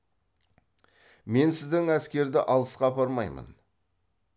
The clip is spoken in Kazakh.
мен сіздің әскерді алысқа апармаймын